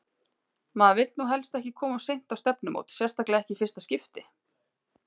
Maður vill nú helst ekki koma of seint á stefnumót, sérstaklega ekki í fyrsta skipti!